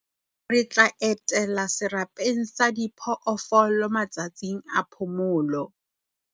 Re tla etela serapeng sa diphoofolo matsatsing a phomolo.